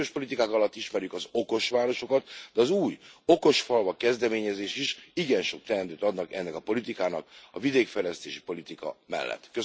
A régiós politikák alatt ismerjük az okos városokat, de az új okos falvak kezdeményezés is igen sok teendőt adnak ennek a politikának a vidékfejlesztési politika mellett.